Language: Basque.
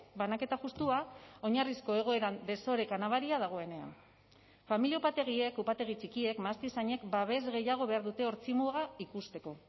banaketa justua oinarrizko egoeran desoreka nabaria dagoenean familia upategiek upategi txikiek mahastizainek babes gehiago behar dute ortzi muga ikusteko